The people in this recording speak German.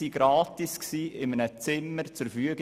Die Gemeinde stellte ihnen gratis ein Zimmer zur Verfügung.